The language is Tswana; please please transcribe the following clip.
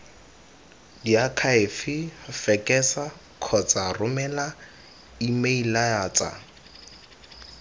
diakhaefe fekesa kgotsa romela emeilatsa